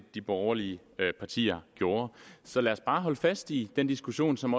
de borgerlige partier gjorde så lad os bare holde fast i den diskussion som